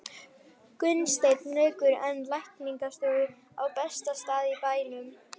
Gunnsteinn rekur enn lækningastofu á besta stað í bænum.